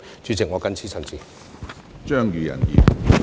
主席，我謹此陳辭。